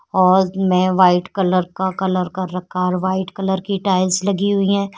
में white colour का colour कर रखा और वाइट कलर की टाइल्स लगी हुई है।